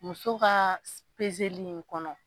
Muso ka pezeli in kɔnɔ.